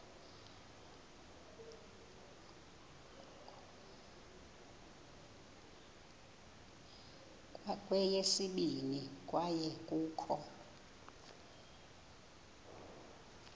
kweyesibini kwaye kukho